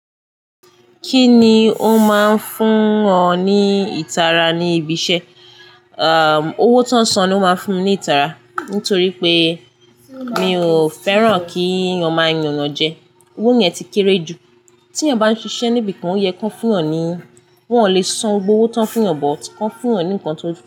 Kí ni ó máa ń fún ọ ní ìtara ní ibi iṣẹ́? Owó tó ń san ni ó máa ń fún mi ní ìtara, nítorí pé mi ò fẹ́ràn kí wo máa yà enyàn jẹ. Owó yẹn ti kéré jù. Tí ẹ̀yàn bá ń ṣiṣẹ́ níbi kan, ó yẹ kó fún yan ní wọn ò lè san gbogbo owó tán fún ọ, but kó fún ọ ní nǹkan tó dùn.